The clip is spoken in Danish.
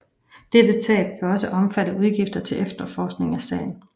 Dette tab kan også omfatte udgifter til efterforskning af sagen